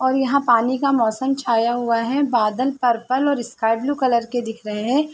और यहाँ पानी का मौसम छाया हुआ है बादल पर्पल और स्काई ब्लू कलर के दिख रहे हैं।